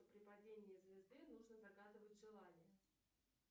при падении звезды нужно загадывать желание